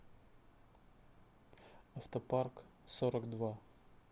автопарк сорок два